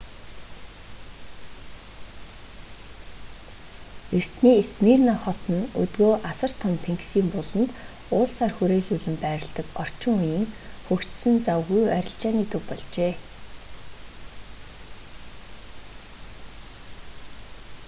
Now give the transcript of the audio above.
эртний смирна хот нь өдгөө асар том тэнгисийн буланд уулсаар хүрээлүүлэн байрладаг орчин үеийн хөгжсөн завгүй арилжааны төв болжээ